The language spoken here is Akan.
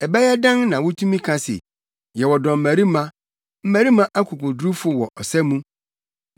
“Ɛbɛyɛ dɛn na wutumi ka se, ‘Yɛyɛ dɔmmarima, mmarima akokodurufo wɔ ɔsa mu’?